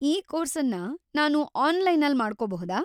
ಈ ಕೋರ್ಸನ್ನ ನಾನು ಆನ್‌ಲೈನಲ್ಲಿ ಮಾಡ್ಕೊಬಹುದಾ?